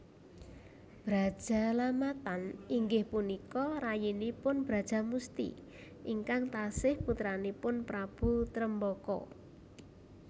Brajalamatan inggih punika rayinipun Brajamusti ingkang tasih putranipun Prabu Tremboko